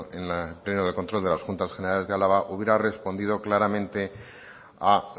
en el pleno de control de las juntas generales de álava hubiera respondido claramente a